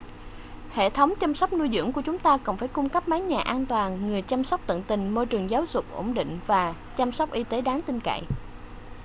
hệ thống chăm sóc nuôi dưỡng của chúng ta cần phải cung cấp mái nhà an toàn người chăm sóc tận tình môi trường giáo dục ổn định và chăm sóc y tế đáng tin cậy